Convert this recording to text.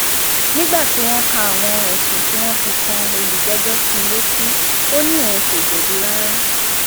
nígbà tí wọn ka àwọn ẹsùn tí wọn fi kan olùjẹjọ sí i létí ó ní òun kò jẹbi rárá